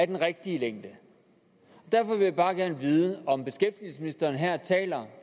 den rigtige længde derfor vil jeg bare gerne vide om beskæftigelsesministeren her taler